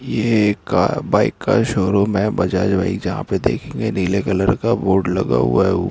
ये एक बाईक का शो रूम है बजाज बाइक जहां पे देखेंगे नीले कलर का बोर्ड लगा हुआ है।